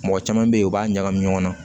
Mɔgɔ caman bɛ yen u b'a ɲagami ɲɔgɔn na